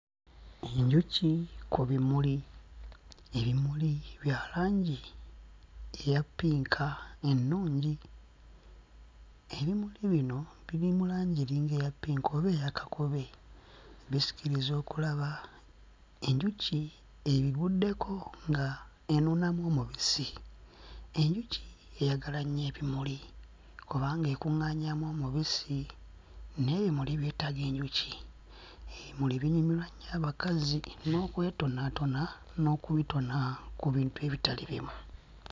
Enjuki ku bimuli, ebimuli bya langi eya ppinka ennungi. Ebimuli bino biri mu langi eringa eya ppinka oba eya kakobe bisikiriza okulaba. Enjuki ebibuddeko nga enuunamu omubisi. Enjuki eyagala nnyo ebimuli kubanga ekuŋŋaanyaamu omubisi n'ebimuli byetaaga enjuki. Ebimuli binyumirwa nnyo abakazi n'okwetonaatona n'okubitona ku bintu ebitali bimu.